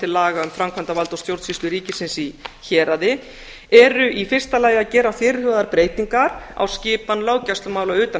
laga um framkvæmdarvald og stjórnsýslu ríkisins í héraði eru í fyrsta lagi að gera fyrirhugaðar breytingar á skipan löggæslumála utan